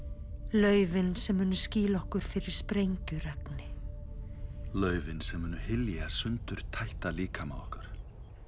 laufin sem munu skýla okkur fyrir sprengjuregni laufin sem munu hylja sundurtætta líkama okkar